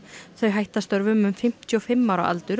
þau hætta störfum um fimmtíu og fimm ára aldur á